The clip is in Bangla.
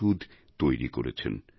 ওষুধ তৈরি করেছেন